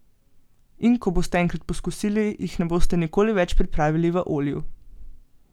In ko boste enkrat poskusili, jih ne boste nikoli več pripravili v olju.